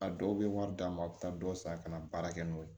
A dɔw bɛ wari d'an ma a bɛ taa dɔ san ka na baara kɛ n'o ye